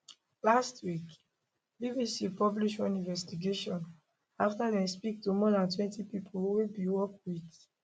last week bbc publish one investigation afta dem speak to more dantwentypipo wey bin work wit